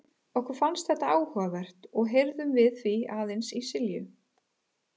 Okkur fannst þetta áhugavert og heyrðum við því aðeins í Silju.